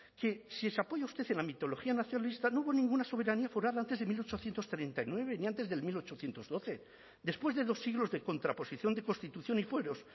que si se apoya usted en la mitología nacionalista no hubo ninguna soberanía foral antes de mil ochocientos treinta y nueve ni antes del mil ochocientos doce después de dos siglos de contraposición de constitución y fueros